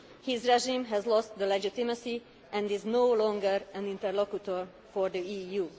His regime has lost legitimacy and is no longer an interlocutor for the